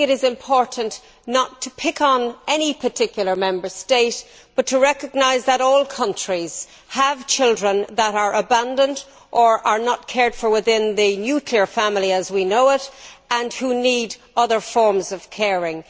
It is important not to pick on any particular Member State but to recognise that all countries have children who are abandoned or not cared for within the nuclear family as we know it and who need other forms of caring.